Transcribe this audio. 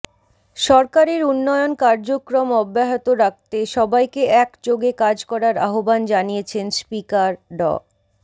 সরকারের উন্নয়ন কার্যক্রম অব্যাহত রাখতে সবাইকে একযোগে কাজ করার আহবান জানিয়েছেন স্পিকার ড